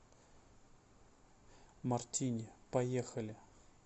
мартини поехали